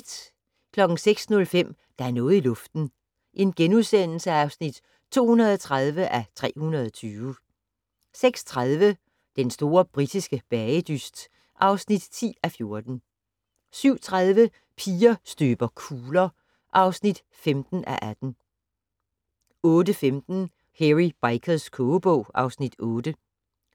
06:05: Der er noget i luften (230:320)* 06:30: Den store britiske bagedyst (10:14) 07:30: Piger støber kugler (15:18) 08:15: Hairy Bikers kogebog (Afs. 8)